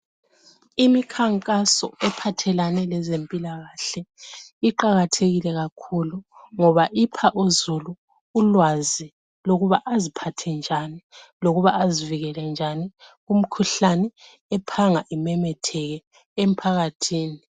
Imikhankaso iphathelane lezempilakahle iqakathekile kakhulu ngoba ipha uzulu ulwazi lokuba aziphathe njani lokuba azivikele njani kumkhuhlane ephanga imemetheke emphakathini.